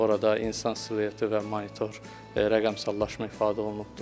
Orada insan silueti və monitor rəqəmsallaşma ifadə olunubdur.